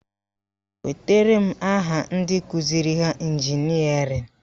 Wetara m aha ndị kụziri ha ịnjinịarịn!